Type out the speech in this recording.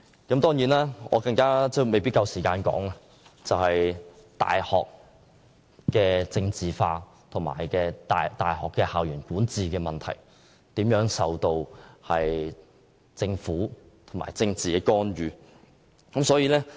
另外有一點，我未必有足夠時間詳述，就是大學政治化，以及大學校園管治如何受政府干預的問題。